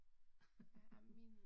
Ej men min